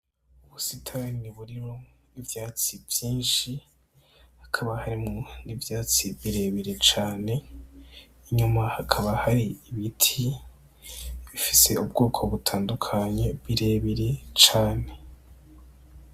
Ubusitanyi buriro ivyatsi vyinshi hakaba harimo n'ivyatsi birebire cane inyuma hakaba hari ibiti bifise ubwoko butandukanye birebire cane.